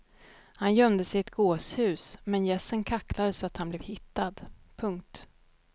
Han gömde sig i ett gåshus men gässen kacklade så att han blev hittad. punkt